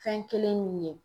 Fɛn kelen min ye